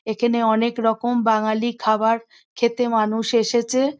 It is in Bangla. এখানে অনেক রকম বাঙালি খাবার খেতে মানুষ এসেছে।